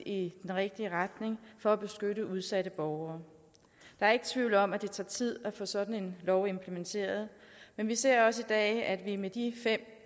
i den rigtige retning for at beskytte udsatte borgere der er ikke tvivl om at det tager tid at få sådan en lov implementeret men vi ser også i dag at vi med de fem